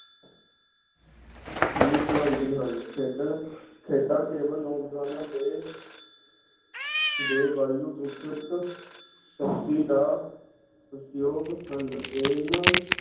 ਵੀ ਬਣਾਉਂਦੀ ਹਨ ਖੇਡਣ ਖੇਡਾਂ ਕੇਵਲ ਨੌਜਵਾਨਾਂ ਦੇ ਦੇ ਵਾਯੂ ਵਿਕਸਿਤ ਦਾ ਹਨ ਇਹਨਾਂ